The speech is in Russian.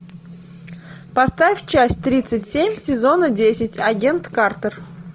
поставь часть тридцать семь сезона десять агент картер